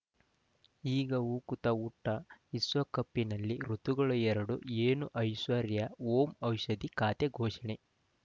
ಈಗ ಉಕುತ ಊಟ ವಿಶ್ವಕಪ್‌ನಲ್ಲಿ ಋತುಗಳು ಎರಡು ಏನು ಐಶ್ವರ್ಯಾ ಓಂ ಔಷಧಿ ಖಾತೆ ಘೋಷಣೆ